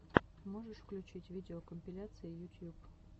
можешь включить видеокомпиляции ютьюб